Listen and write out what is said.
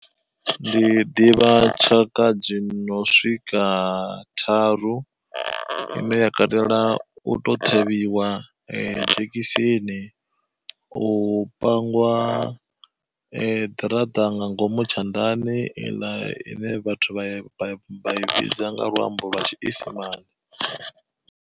Ndi ḓivha tshaka dzi no swika tharu, ine ya katela u to ṱhavhiwa nga dzhekiseni, u pangiwa ḓiraṱa nga ngomu tshanḓani iḽa ine vhathu vha i vhidza nga luambo lwa tshiisimane.